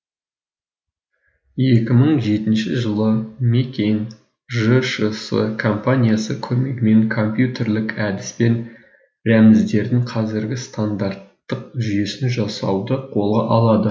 екі мың жетінші жылы мекен жшс компаниясы көмегімен компьютерлік әдіспен рәміздердің қазіргі стандарттық жүйесін жасауды қолға алады